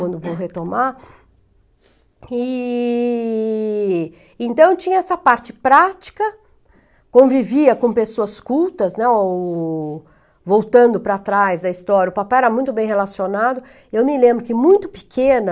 quando vou retomar, e então tinha essa parte prática, convivia com pessoas cultas, né, o... Voltando para trás da história, o papai era muito bem relacionado, eu me lembro que muito pequena,